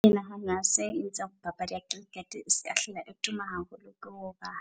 Ke nahana se etsang papadi ya cricket eseka hlola e tuma haholo ke hoba